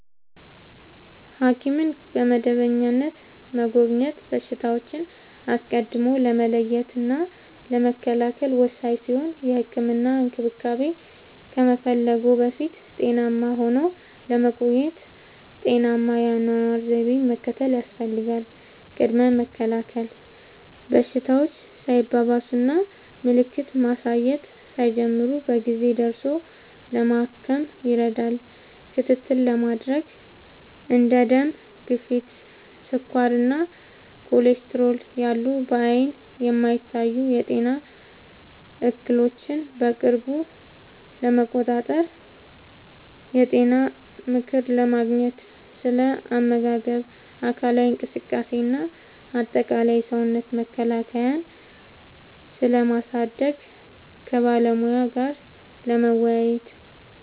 ሐኪምን በመደበኛነት መጎብኘት በሽታዎችን አስቀድሞ ለመለየትና ለመከላከል ወሳኝ ሲሆን፥ የህክምና እንክብካቤ ከመፈለግዎ በፊት ጤናማ ሆነው ለመቆየት ጤናማ የአኗኗር ዘይቤን መከተል ያስፈልጋል። ቅድመ መከላከል፦ በሽታዎች ሳይባባሱና ምልክት ማሳየት ሳይጀምሩ በጊዜ ደርሶ ለማከም ይረዳል። ክትትል ለማድረግ፦ እንደ ደም ግፊት፣ ስኳር እና ኮሌስትሮል ያሉ በዓይን የማይታዩ የጤና እክሎችን በቅርብ ለመቆጣጠር። የጤና ምክር ለማግኘት፦ ስለ አመጋገብ፣ አካላዊ እንቅስቃሴ እና አጠቃላይ የሰውነት መከላከያን ስለማሳደግ ከባለሙያ ጋር ለመወያየት።